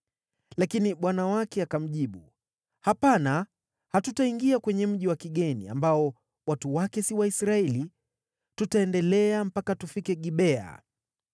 Lakini bwana wake akamjibu, “Hapana. Hatutaingia kwenye mji wa kigeni, ambao watu wake si Waisraeli. Tutaendelea mpaka tufike Gibea.”